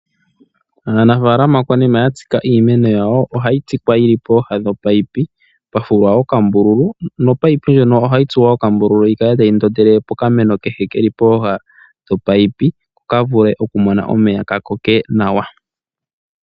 Aanafaalama konima ya tsika iimeno yawo, ohayi tsikwa yili pooha dhomunino pwa fulwa okambululu nomunino ngono ohagu tsuwa okambululu gu kale tagu ndondele pokameno kehe keli pooha dhomunino ko ka vule okumona omeya ka koke nawa.